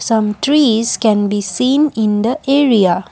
some trees can be seen in the area.